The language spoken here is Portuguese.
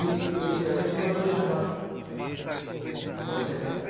E antigamente não havia jabá para você cantar.